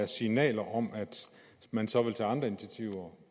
signaler om at man så vil tage andre initiativer